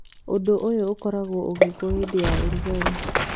Ũndũ ũyũ ũkoragwo ũgekwo hĩndĩ ya ũrugarĩ